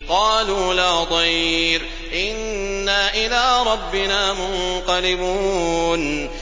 قَالُوا لَا ضَيْرَ ۖ إِنَّا إِلَىٰ رَبِّنَا مُنقَلِبُونَ